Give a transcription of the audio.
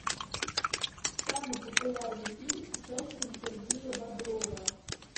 самый популярный фильм с участием сергея бодрова